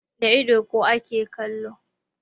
Da ido kuwa ake kallo.